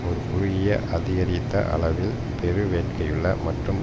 ஒரு குறுகிய அதிகரித்த அளவில் பெருவேட்கையுள்ள மற்றும்